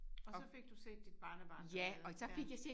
Og så fik du set dit barnebarn dernede ja